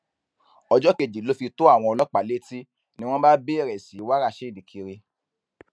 ọjọ kejì ló fi tó àwọn ọlọpàá létí ni wọn bá bẹrẹ sí í wá rasheed kiri